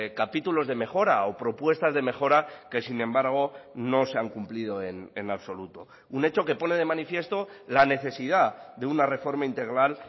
capítulos de mejora o propuestas de mejora que sin embargo no se han cumplido en absoluto un hecho que pone de manifiesto la necesidad de una reforma integral